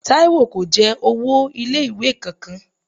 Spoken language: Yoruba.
Táyọ̀ kò jẹ owó ilé ìwé kan kan.